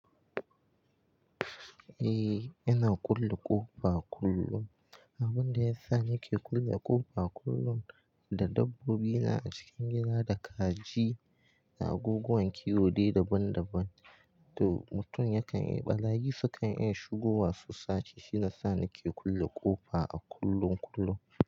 Eh, ina kulle ƙofa kullum. Abun da ya sa nake kulle ƙofa kullum, da dabbobi na a cikin gida da kaji da abubuwan kiwo dai daban daban, to mutum yakan yi barayi sukan iya shigowa su sace. Shine sa nake kulle ƙofa a kullum kullum.